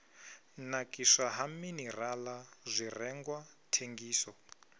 nakiswa ha minirala zwirengwa thengiso